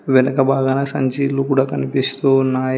వెనక భాగాన సంచీలు కూడా కనిపిస్తూ ఉన్నాయి.